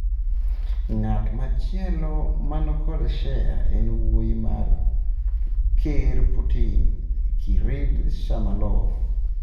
Ng'at machielo man kod shea en wuoyi mar Ker Putin, Kirill Shamalov.